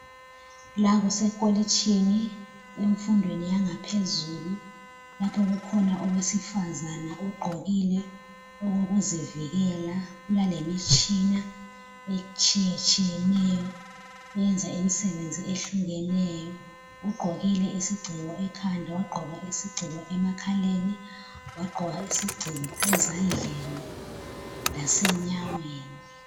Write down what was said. La kusekolitshini enfundweni yangaphezulu lapha kukhona owesifazana ogqokile okokuzivikela kulalemitshina etshiyetshiyeneyo eyenza imsebenzi ehlukeneyo. Ugqokile isigciko ekhanda, wagqoka isigciko emakhaleni, wagqoka isigciko ezandleni lasenyaweni.